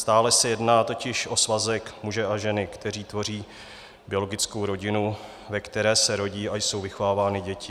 Stále se jedná totiž o svazek muže a ženy, kteří tvoří biologickou rodinu, ve které se rodí a jsou vychovávány děti.